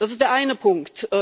Das ist der eine Punkt.